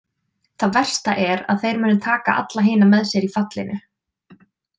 Það versta er að þeir munu taka alla hina með sér í fallinu.